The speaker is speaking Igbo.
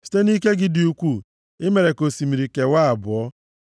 Site nʼike gị dị ukwuu i mere ka osimiri kewaa abụọ. Ọ bụ gị gwepịara isi anụ ọjọọ ahụ nʼime mmiri.